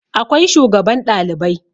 Akwai shugaban Ɗalibai